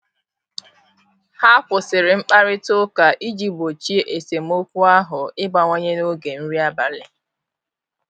Ha kwụsịrị mkparịta ụka iji gbochie esemokwu ahu ịbawanye n'oge nri abalị.